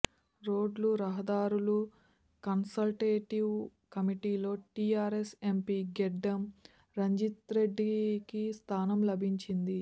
రోడ్లు రహదారులు కన్సల్టేటివ్ కమిటీలో టీఆర్ఎస్ ఎంపీ గెడ్డం రంజిత్రెడ్డికి స్థానం లభించింది